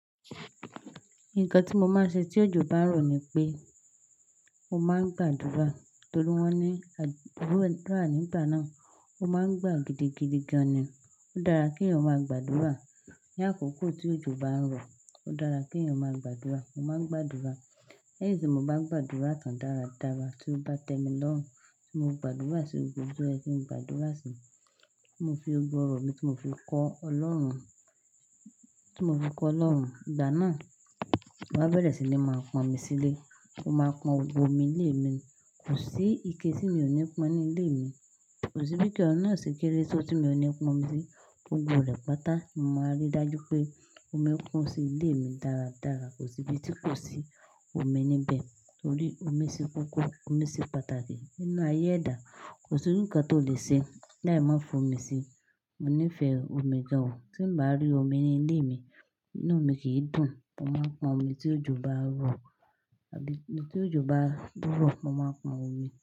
Nǹkan tí mo máa ṣe tí òjò bá ń rọ̀ ni pé mo máa gbàdúrà torí wọ́n ní àdúrà gbígbà ni ìgbà náà, o máa ń gbà gidigidi gan ni. Ó dára kí èèyàn máa gbàdúrà. Ní àkókò tí òjò bá ń rọ̀, ó dára kí èèyàn máa gbàdúrà. Mo máa ń gbàdúrà. Lẹ́yìn tí mo bá gbàdúrà tán dáradára tí ó bá tẹ́ mi lọ́run, tí mo gbàdúrà sí gbogbo o ohun tó yẹ kin gbàdúrà sí i, tí mo fi gbogbo orọ̀ mi, tí mo fi kọ́ Ọlọ́run, tí mo fi kọ́ Ọlọ́run. Ìgbà náà, mo máa bẹ̀rẹ̀ sí ní máa pọn omi sílé. Mo máa pọn omi ilé mi. Kò sí ike tí mi ò ní pọn ní ilé mi. Kò sí bí ike oun ná ṣe kéré tó tí mi ò ní pọn omi sí. Gbogbo rẹ̀ pátá, ni mo máa rí dájú pé omi kún sí ilé mi dáradára. Kò sí ibi tí kò sí omi níbẹ̀ torí omi ṣe kókó, omi ṣe pàtàkì nínú ayé ẹ̀dá. Kò sí ǹkan tó lè ṣe láì má fi omi sí i. Mo nífẹ̀ẹ́ omi gan. Tí n bá rí omi ní ilé mi, inú mi kì í dùn. Mo máa pọn omi tí òjò bá rọ̀ àbí tí òjò bá dúró, mo máa pọn omi.